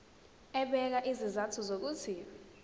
ebeka izizathu zokuthi